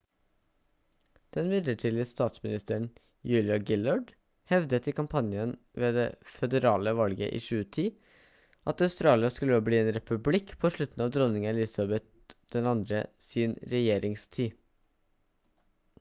den midlertidige statsministeren julia gillard hevdet i kampanjen ved det føderale valget i 2010 at australia skulle bli en republikk på slutten av dronning elizabeth ii sin regjeringstid